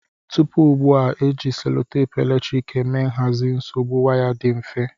Tupu ugbua, e ji selotepu eletrik eme nhazi nsogbu waya dị mfe.